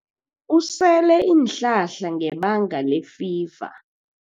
Usele iinhlahla ngebanga lefiva.